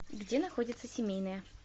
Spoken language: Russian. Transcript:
где находится семейная